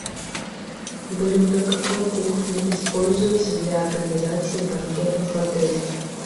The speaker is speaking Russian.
блюда какой кухни используются для организации банкетов в отеле